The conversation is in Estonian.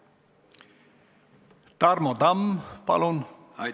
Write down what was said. Tarmo Tamm, palun!